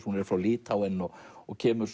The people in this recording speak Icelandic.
hún er frá Litháen og og kemur